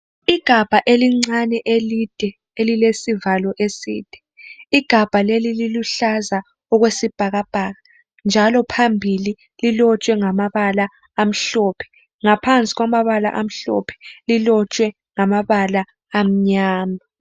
igabha elincane elide elilsivalo eside igabha leli liluhlaza okwesibhakabhaka njalo phambili lilotshwe ngamabala amhlophe ngaphansi kwamabala amhlophe lilotshwe ngamabala amnyama